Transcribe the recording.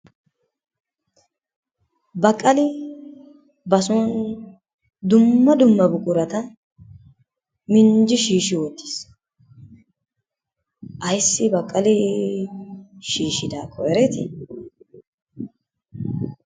Baqqali bason dumma dumma buqurata minjji shiishi wottiis. Ayssi Baqqalii shishiddaakko ereetti?